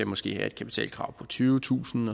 måske være et kapitalkrav på tyvetusind